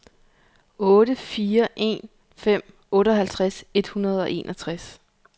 otte fire en fem otteoghalvtreds et hundrede og enogtres